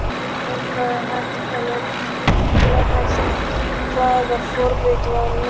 Og ef það er hægt, hvaða forrit var notað?